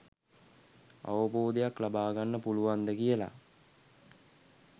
අවබෝධයක් ලබාගන්න පුළුවන්ද කියල.